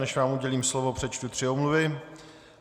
Než vám udělím slovo, přečtu tři omluvy.